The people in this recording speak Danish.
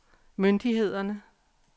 myndighederne